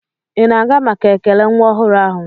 Ị na-aga maka ekele nwa ọhụrụ ahụ?